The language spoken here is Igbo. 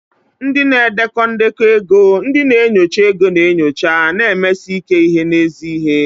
Ndị na-edekọ ndekọ ego, ndị na-enyocha ego na-enyocha, na-emesi ike n'ezi ihe.